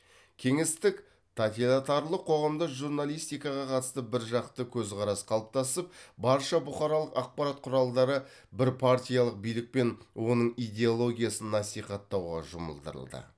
кеңестік тотилатарлық қоғамда журналистикаға қатысты біржақты көзқарас қалыптасып барша бұқаралық ақпарат құралдары бірпартиялық билік пен оның идеологиясын насихаттауға жұмылдырылды